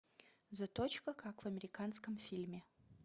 заточка как в американском фильме